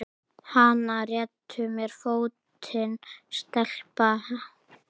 Hana réttu mér fótinn, stelpa!